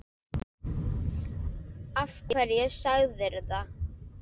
Af hverju segirðu það?